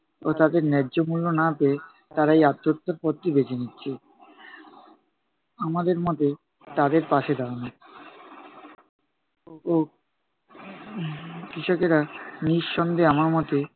ও তাদরে ন্যায্য মূল্য না পেয়ে, তারা এই আত্মহত্যার পথটি বেছে নিচ্ছে। আমাদের মতে তাদের পাশে দাঁড়ানো উহ কৃষকেরা নিঃসন্দেহে আমার মতে,